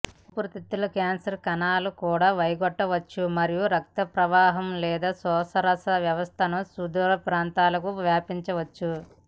ఊపిరితిత్తుల క్యాన్సర్ కణాలు కూడా వైదొలగవచ్చు మరియు రక్తప్రవాహం లేదా శోషరస వ్యవస్థను సుదూర ప్రాంతాలకు వ్యాపించవచ్చు